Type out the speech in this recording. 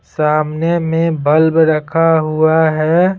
सामने में बल्ब रखा हुआ है।